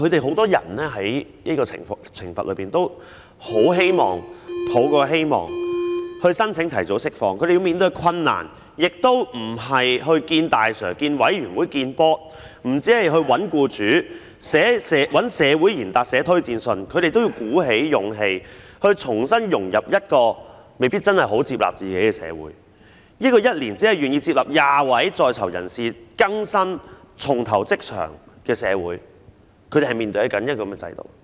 很多人在接受懲罰時也很希望申請提早釋放，但他們要面對的困難不僅是與"大 Sir"、委員會見面，亦不止是找僱主，找社會賢達寫推薦信，他們也要鼓起勇氣，重新融入一個未必很接納自己的社會——這個每年只願意接納20位在囚人士更生、重投職場的社會，他們是面對這樣的制度。